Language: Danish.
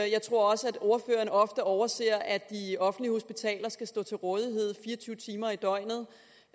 jeg tror også at ordføreren ofte overser at de offentlige hospitaler skal stå til rådighed fire og tyve timer i døgnet